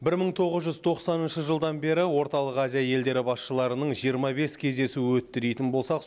бір мың тоғыз жүз тоқсаныншы жылдан бері орталық азия елдері басшыларының жиырма бес кездесуі өтті дейтін болсақ